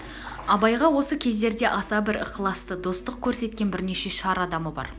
абайға осы кездерде аса бір ықыласты достық көрсеткен бірнеше шар адамы бар